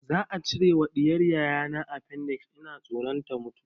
Za a cire ma ɗiyar yayana afendix, ina tsoron ta mutu.